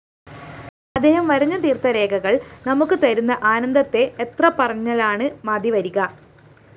അദ്ദേഹം വരഞ്ഞുതീര്‍ത്ത രേഖകള്‍ നമുക്ക് തരുന്ന ആനന്ദത്തെ എത്രപറഞ്ഞാലാണ് മതിവരിക